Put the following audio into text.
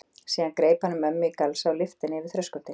Síðan greip hann um mömmu í galsa og lyfti henni yfir þröskuldinn.